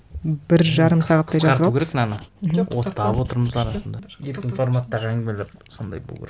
бір жарым сағаттай жазып алыппыз қысқарту керек мынаны оттап отырмыз арасында еркін форматтағы әңгімелер сондай болу керек